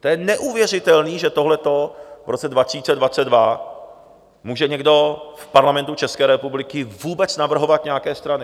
To je neuvěřitelné, že tohle v roce 2022 může někdo v Parlamentu České republiky vůbec navrhovat, nějaké strany.